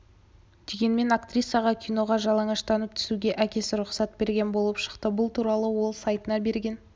дегенмен актрисаға киноға жалаңаштанып түсуге әкесі рұқсат берген болып шықты бұл туралы ол сайтына берген